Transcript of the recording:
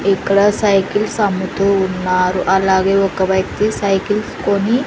ఇక్కడ సైకిల్స్ అమ్ముతూ ఉన్నారు అలాగే ఒక వ్యక్తి సైకిల్స్ కొని.